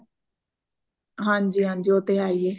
ਹਾਂਜੀ ਹਾਂਜੀ ਉਹ ਤੇ ਹੈ ਹੀਏ